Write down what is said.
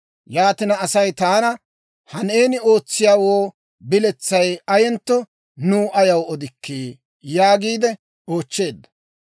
Yaatina, Asay taana, «Ha neeni ootsiyaawoo biletsay ayentto nuw ayaw odikkii?» yaagiide oochcheedda.